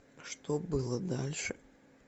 что было дальше